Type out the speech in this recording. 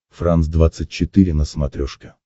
франс двадцать четыре на смотрешке